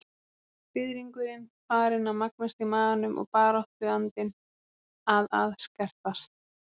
Fiðringurinn farinn að magnast í maganum og baráttuandinn að að skerpast.